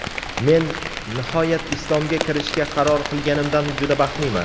Men nihoyat Islomga kirishga qaror qilganimdan juda baxtliman.